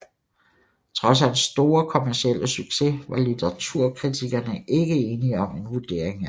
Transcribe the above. Trods hans store kommercielle succes var litteraturkritikerne ikke enige om en vurdering af ham